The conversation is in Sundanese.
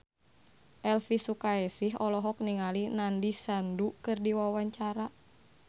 Elvy Sukaesih olohok ningali Nandish Sandhu keur diwawancara